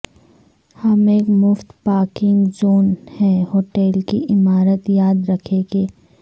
ہم ایک مفت پارکنگ زون ہے ہوٹل کی عمارت یاد رکھیں کہ